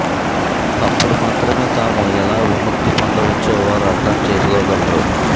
అప్పుడు మాత్రమే తాము ఎలా విముక్తి పొందవచ్చో వారు అర్థం చేసుకోగలరు